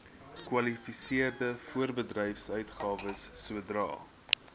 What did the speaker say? kwalifiserende voorbedryfsuitgawes sodra